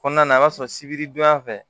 Kɔnɔna na i b'a sɔrɔ sibiridonya fɛ